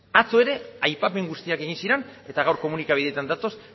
atzo ere aipamen guztiak egin ziren eta gaur komunikabideetan datoz